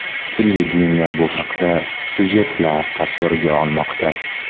Televideniye bu haqda syujetlar tasvirga olmoqda.